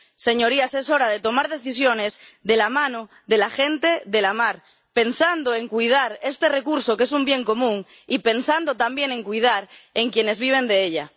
Señorías, es hora de tomar decisiones de la mano de la gente de la mar, pensando en cuidar este recurso, que es un bien común, y pensando también en cuidar a quienes viven de ella.